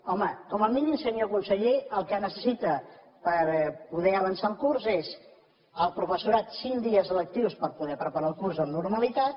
home com a mínim senyor conseller el que necessita per poder avançar el curs és el professorat cinc dies lectius per poder preparar el curs amb normalitat